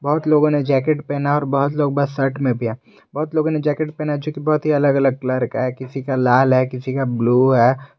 बहोत लोगों ने जैकेट पहना है और बहुत लोग बस शर्ट में भी है बहोत लोगों ने जैकेट पहना है जोकि बहोत ही अलग-अलग कलर का है किसी का लाल है किसी का ब्लू है।